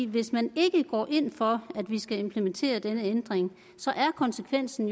hvis man ikke går ind for at vi skal implementere denne ændring er konsekvensen